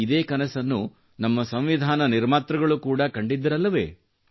ಇದೇ ಕನಸನ್ನು ನಮ್ಮ ಸಂವಿಧಾನ ನಿರ್ಮಾತೃಗಳು ಕೂಡಾ ಕಂಡಿದ್ದರಲ್ಲವೇ